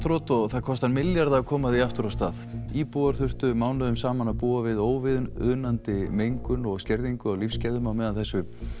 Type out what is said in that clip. þroti og það kostar milljarða að koma því aftur af stað íbúar þurftu mánuðum saman að búa við óviðunandi mengun og skerðingu á lífsgæðum á meðan þessu